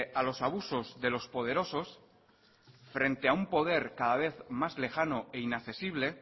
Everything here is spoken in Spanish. a los abusos de los poderosos frente a un poder cada vez más lejano e inaccesible